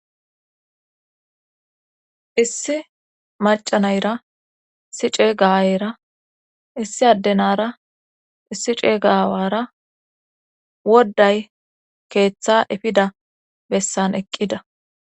issi maca nayira issi ceega ayeyra issi addenara issi ceegawara wodday keeththa efida bessan eqqida